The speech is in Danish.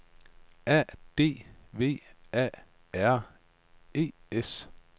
A D V A R E S